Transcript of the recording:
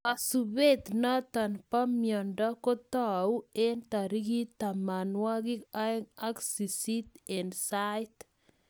Kasubet notok bo mnendo kotou eng tarik tamanwokik aeng ak sist eng sait